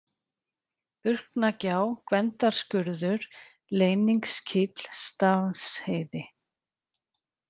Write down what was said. Burknagjá, Gvendarskurður, Leyningskíll, Stafnsheiði